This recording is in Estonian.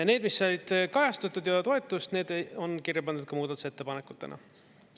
Need, mis said kajastatud ja toetust, need on kirja pandud ka muudatusettepanekutena.